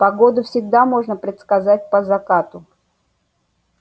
погоду всегда можно предсказать по закату